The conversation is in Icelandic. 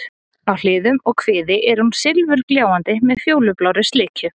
Á hliðum og kviði er hún silfurgljáandi með fjólublárri slikju.